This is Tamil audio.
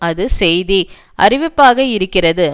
அது செய்தி அறிவிப்பாக இருக்கிறது